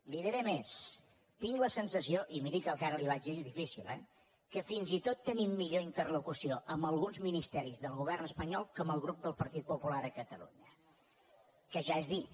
li diré més tinc la sensació i miri que el que ara li diré és difícil eh que fins i tot tenim millor interlocució amb alguns ministeris del govern espanyol que amb el grup del partit popular a catalunya que ja és dir